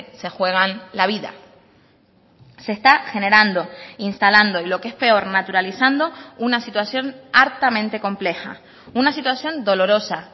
se juegan la vida se está generando instalando y lo que es peor naturalizando una situación hartamente compleja una situación dolorosa